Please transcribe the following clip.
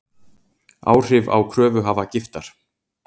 Áhrif á kröfuhafa Giftar